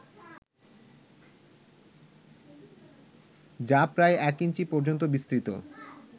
যা প্রায় এক ইঞ্চি পর্যন্ত বিস্তৃত